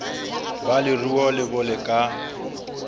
ba leruo bo le ka